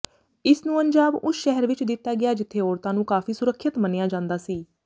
ਇਸਨੂੰ ਅੰਜਾਮ ਉਸ ਸ਼ਹਿਰ ਵਿੱਚ ਦਿੱਤਾ ਗਿਆ ਜਿੱਥੇ ਔਰਤਾਂ ਨੂੰ ਕਾਫ਼ੀ ਸੁਰੱਖਿਅਤ ਮੰਨਿਆ ਜਾਂਦਾ ਸੀ